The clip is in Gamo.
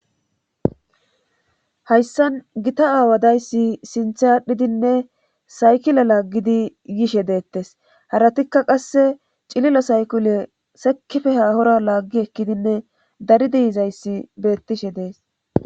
hayssan gita aawadayssi sinthe aadhdhidinne saykila laaggidi yishe deettes haratikka qasse cilila saykule sekife haahora laaggi ekkidinne daridiizayssi beettishe dees